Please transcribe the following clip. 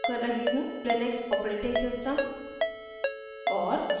Linux operating system और